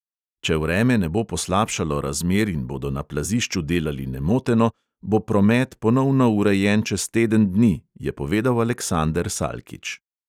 Če vreme ne bo poslabšalo razmer in bodo na plazišču delali nemoteno, bo promet ponovno urejen čez teden dni, je povedal aleksander salkič.